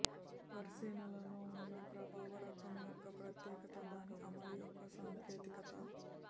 పరిశీలనలో ఉన్న ప్రభావ రకం యొక్క ప్రత్యేకత దాని అమలు యొక్క సాంకేతికత